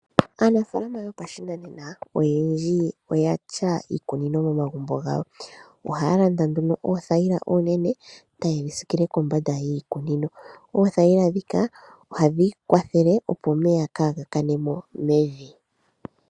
Aanafalama yopashinaena oyendji oya tya iikunino momagumbo gawo, ohaya landa nduno oothayila onene eta ye dhi sikile kombanda yiikunino. Ohadhi kwathele opo omeya kaa ga kane mo mevi.